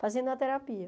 Fazendo a terapia.